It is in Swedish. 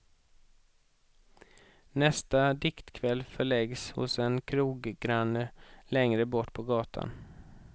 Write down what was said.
Nästa diktkväll förläggs hos en kroggranne längre bort på gatan.